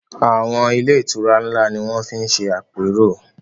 Àwọn ilé-ìtura ńlá ni wọ́n fi ń ṣe àpérò.